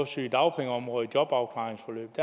sygedagpengeområdet i jobafklaringsforløb